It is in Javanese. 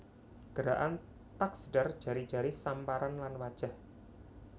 Gerakan taksdar jari jari samparan lan wajah